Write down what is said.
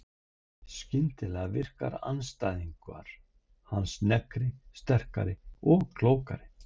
Skyndilega virka andstæðingar hans sneggri, sterkari og klókari.